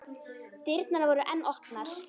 Dyrnar voru enn opnar.